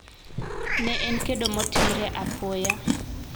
Ne en kedo motimre apoya.